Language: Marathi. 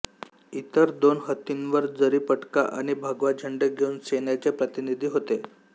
इतर दोन हत्तींवर जरीपटका आणि भगवा झेंडे घेऊन सेन्याचे प्रतिनिधी होते